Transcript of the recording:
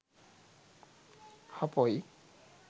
හපොයි